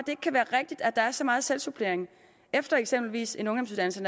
ikke kan være rigtigt at der er så meget selvsupplering efter eksempelvis en ungdomsuddannelse